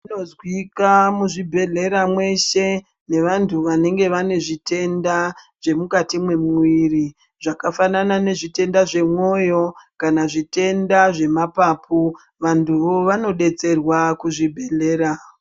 Zvinozwika muzviibhedhlera mweshe nevantu vanenge vane zviitenda zvemukati mwemwiri zvakafanana nezvitenda zvemwoyo kana zvitenda zvemapapu vantuvo vanodetserwa kuzvibhedhlera.